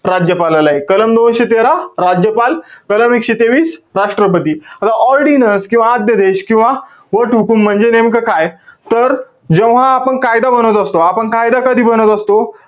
राज्यपालाला आहे. कलम दोनशे तेरा, राज्यपाल. कलम एकशे तेवीस, राष्ट्रपती. आता ordinance किंवा आद्यदेश किंवा वटहुकूम म्हणजे नेमकं काय? तर, जेव्हा आपण कायदा बनत असतो. आपण कायदा कधी बनत असतो?